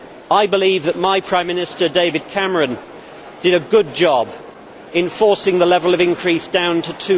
I believe that my Prime Minister, David Cameron, did a good job in forcing the level of increase down to